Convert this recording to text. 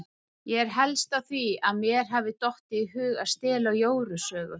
Ég er helst á því að mér hafi dottið í hug að stela Jóru sögu.